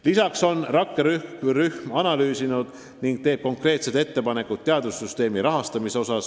Lisaks on rakkerühm analüüsinud ning teeb konkreetsed ettepanekud teadussüsteemi rahastamise kohta.